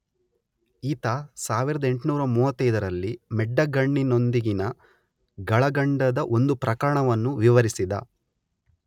ಈತ 1835ರಲ್ಲಿ ಮೆಡ್ಡಗಣ್ಣಿನೊಂದಿಗಿನ ಗಳಗಂಡದ ಒಂದು ಪ್ರಕರಣವನ್ನು ವಿವರಿಸಿದ.